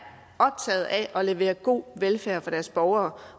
optaget af at levere god velfærd for deres borgere